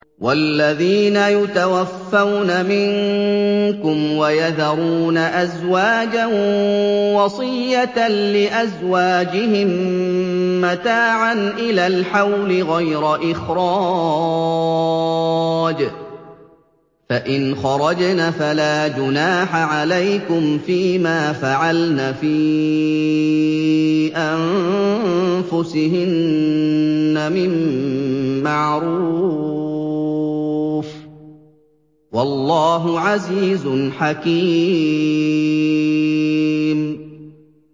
وَالَّذِينَ يُتَوَفَّوْنَ مِنكُمْ وَيَذَرُونَ أَزْوَاجًا وَصِيَّةً لِّأَزْوَاجِهِم مَّتَاعًا إِلَى الْحَوْلِ غَيْرَ إِخْرَاجٍ ۚ فَإِنْ خَرَجْنَ فَلَا جُنَاحَ عَلَيْكُمْ فِي مَا فَعَلْنَ فِي أَنفُسِهِنَّ مِن مَّعْرُوفٍ ۗ وَاللَّهُ عَزِيزٌ حَكِيمٌ